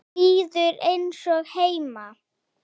Líður eins og heima.